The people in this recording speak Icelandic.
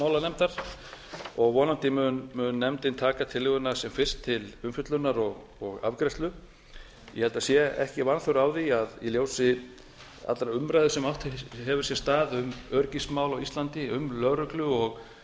menntamálanefndar og vonandi mun nefndin taka tillöguna sem fyrst til umfjöllunar og afgreiðslu ég held að það sé ekki vanþörf á því í ljósi allrar umræðu sem átt hefur sér stað um öryggismál á íslandi um lögreglu og